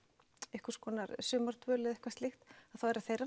einhvers konar sumardvöl eða eitthvað slíkt þá er það þeirra